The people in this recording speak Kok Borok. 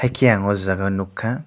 enke ang aw jaaga nugkha.